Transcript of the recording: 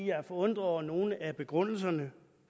jeg er forundret over nogle af begrundelserne